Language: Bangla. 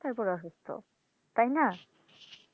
তারপর অসুস্থ তাই না